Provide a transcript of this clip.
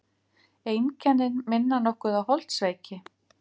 Einkennin minna nokkuð á holdsveiki.